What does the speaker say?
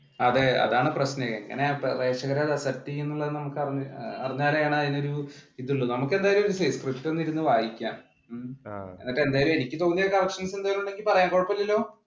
അതെ അതാണ് പ്രശ്നം പ്രേഷകരുടെ പ്രസക്തി നമുക്ക് അറിഞ്ഞാലാണ് അതിനൊരു ഇതുള്ളൂ നമ്മുക്കെന്തായാലും സ്ക്രിപ്റ്റ് ഒന്ന് ഇരുന്ന് വായിക്കാം, എനിക്ക് തോന്നിയ എന്തേലും corrections ഉണ്ടെങ്കിൽ പറയാം കുഴപ്പമില്ലല്ലോ?